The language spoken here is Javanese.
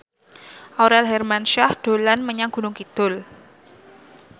Aurel Hermansyah dolan menyang Gunung Kidul